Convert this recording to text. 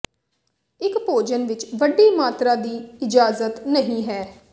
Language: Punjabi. ਇੱਕ ਭੋਜਨ ਵਿਚ ਵੱਡੀ ਮਾਤਰਾ ਦੀ ਇਜਾਜ਼ਤ ਨਹੀ ਹੈ